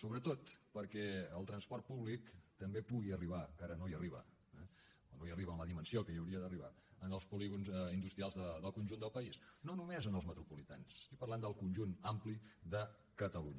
sobretot perquè el transport públic també pugui arribar que ara no hi arriba eh o no hi arriba amb la dimensió amb què hi hauria d’arribar als polígons industrials del conjunt del país no només als metropolitans estic parlant del conjunt ampli de catalunya